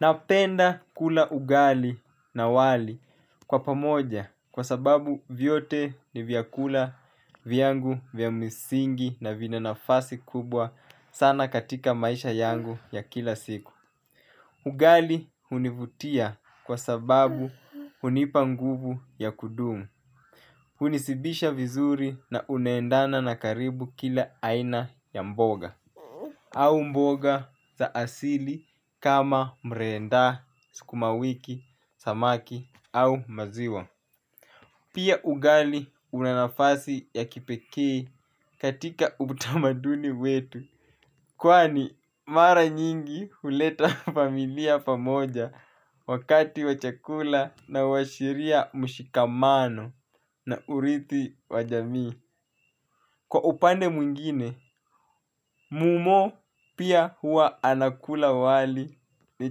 Napenda kula ugali na wali kwa pamoja kwa sababu vyote ni vyakula vyangu vya misingi na vina nafasi kubwa sana katika maisha yangu ya kila siku. Ugali hunivutia kwa sababu hunipa nguvu ya kudumu. Hunishibisha vizuri na unaendana na karibu kila aina ya mboga. Au mboga za asili kama mrenda sukuma wiki samaki au maziwa pia ugali una nafasi ya kipekee katika utamaduni wetu. Kwani mara nyingi huleta familia pamoja wakati wa chakula na huashiria mshikamano na urithi wa jami. Kwa upande mwingine, mumo pia hua anakula wali ni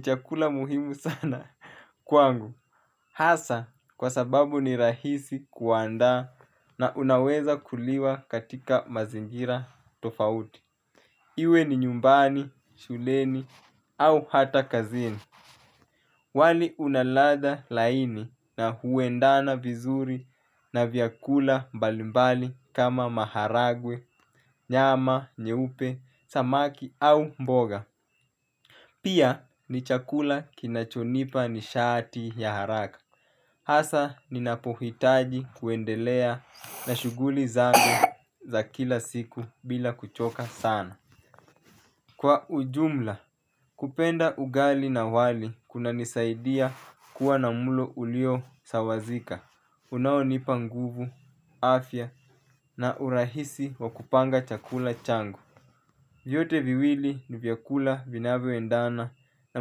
chakula muhimu sana. Kwangu, hasa kwa sababu ni rahisi kuanda na unaweza kuliwa katika mazingira tofauti. Iwe ni nyumbani, shuleni au hata kazini. Wali una ladha laini na huendana vizuri na vyakula balimbali kama maharagwe, nyama, nyeupe, samaki au mboga. Pia ni chakula kinachonipa nishati ya haraka. Hasa ninapohitaji kuendelea na shughuli zangu za kila siku bila kuchoka sana kwa ujumla kupenda ugali na wali unanisaidia kuwa na mlo uliosawasika unaonipa nguvu, afya na urahisi wa kupanga chakula changu. Vyote viwili nivl vyakula vinavyoendana na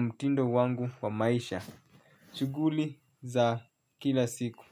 mtindo wangu wa maisha. Chuguli za kila siku.